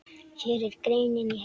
Hér er greinin í heild.